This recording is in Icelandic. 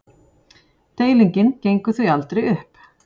Deilingin gengur því aldrei upp.